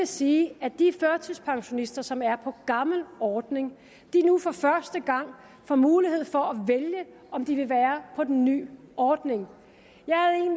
sige at de førtidspensionister som er på gammel ordning nu for første gang får mulighed for at vælge om de vil være på den nye ordning